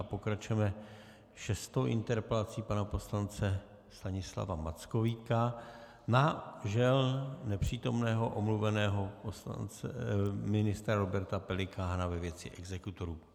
A pokračujeme šestou interpelací pana poslance Stanislava Mackovíka na žel nepřítomného, omluveného ministra Roberta Pelikána ve věci exekutorů.